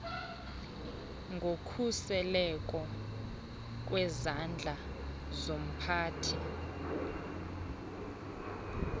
ngokhuseleko kwizandla zomphathi